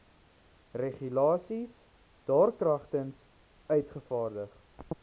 regulasies daarkragtens uitgevaardig